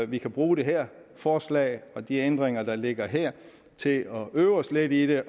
vi kan bruge det her forslag og de ændringer der ligger her til at øve os lidt i det